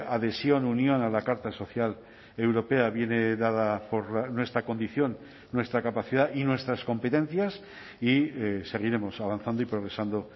adhesión unión a la carta social europea viene dada por nuestra condición nuestra capacidad y nuestras competencias y seguiremos avanzando y progresando